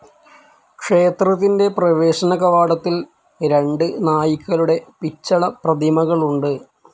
ക്ഷേത്രത്തിൻ്റെ പ്രവേശന കവാടത്തിൽ രണ്ട് നായ്ക്കളുടെ പിച്ചള പ്രതിമകളുണ്ട്.